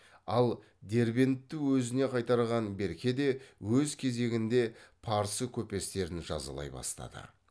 ал дербентті өзіне қайтарған берке де өз кезегінде парсы көпестерін жазалай бастады